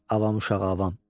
Avam uşağı avam.